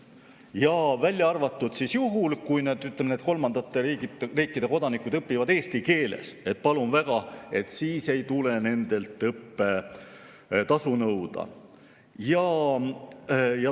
Ka välja arvatud juhul, kui need, ütleme, kolmandate riikide kodanikud õpivad eesti keeles – palun väga, siis ei tule nendelt õppetasu nõuda.